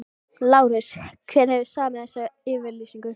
LÁRUS: Hver hefur samið þessa yfirlýsingu?